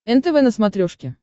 нтв на смотрешке